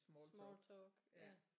Smalltalk ja